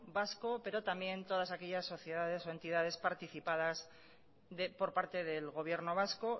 vasco pero también todas aquellas sociedades o entidades participadas por parte del gobierno vasco